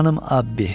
Canım Abbi,